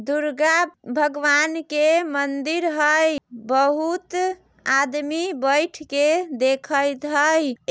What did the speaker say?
दुर्गा भगवान के मंदिर हय बहुत आदमी बैठ के देखएत हय।